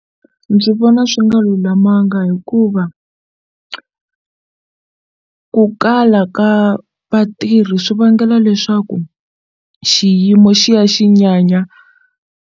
Ndzi vona swi nga lulamanga hikuva ku kala ka vatirhi swi vangela leswaku xiyimo xi ya xi nyanya.